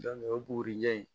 o bugurijɛ ye